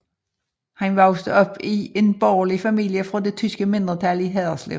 Han voksede op i en borgerlig familie fra det tyske mindretal i Haderslev